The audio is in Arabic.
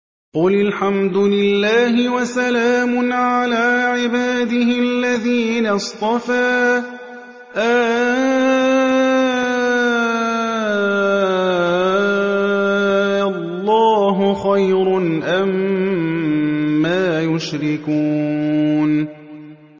قُلِ الْحَمْدُ لِلَّهِ وَسَلَامٌ عَلَىٰ عِبَادِهِ الَّذِينَ اصْطَفَىٰ ۗ آللَّهُ خَيْرٌ أَمَّا يُشْرِكُونَ